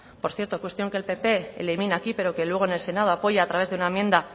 por cierto cuestión que el pp elimina aquí pero que luego en el senado apoya a través de una enmienda